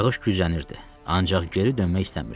Yağış güclənirdi, ancaq geri dönmək istəmirdim.